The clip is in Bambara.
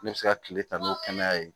Ne bɛ se ka kile ta n'o kɛnɛya ye